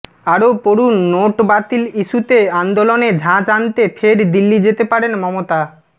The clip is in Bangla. আরও পড়ুন নোটি বাতিল ইস্যুতে আন্দোলনে ঝাঁঝ আনতে ফের দিল্লি যেতে পারেন মমতা